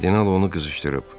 Kardinal onu qızışdırıb.